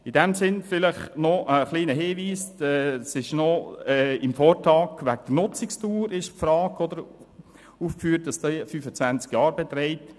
Noch ein kleiner Hinweis: Im Vortrag wird die Frage der Nutzungsdauer ausgewiesen.